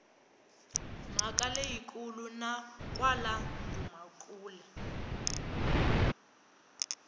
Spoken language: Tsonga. mhaka leyikulu na kwala dumakule